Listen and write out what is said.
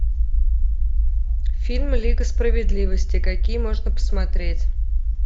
фильм лига справедливости какие можно посмотреть